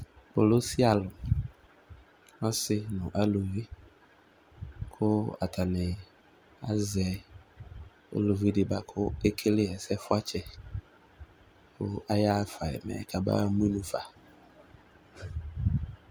kpolusi alò ɔsi no aluvi kò atani azɛ uluvi di boa kò ekele ɛsɛ fuatsɛ kò aya ɣa fa yi mɛ ka ba mu inu fa.